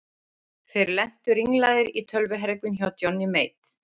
Þeir lentu ringlaðir í tölvuherberginu hjá Johnny Mate.